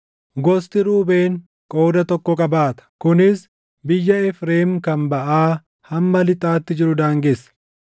Gosti Ruubeen qooda tokko qabaata; kunis biyya Efreem kan baʼaa hamma lixaatti jiru daangessa.